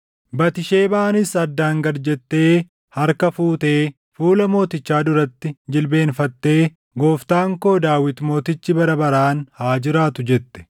Batisheebaanis addaan gad jettee harka fuutee fuula mootichaa duratti jilbeenfattee, “Gooftaan ko, Daawit mootichi bara baraan haa jiraatu!” jette.